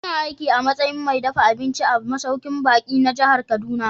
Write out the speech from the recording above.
Ina aiki a matsayin mai dafa abinci a masaukin baƙi na jihar Kaduna.